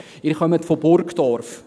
Sie kommen aus Burgdorf: